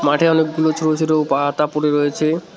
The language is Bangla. মাঠে অনেকগুলো ছোট ছোট পাতা পড়ে রয়েছে।